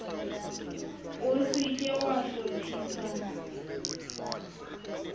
o se ke wa hlophisa